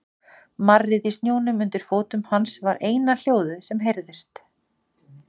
Marrið í snjónum undir fótum hans var eina hljóðið sem heyrðist.